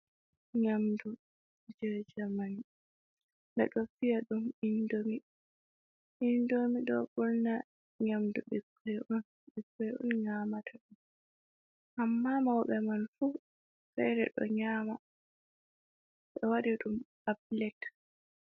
Nyamdu je jerman bedo viya ɗum indomi, do burna nyamdu ɓikkon on, ɓikkon on nyamata ɗum, amma mauɓe man fu fere ɗo nyama ɓe wadi ɗum ha plet.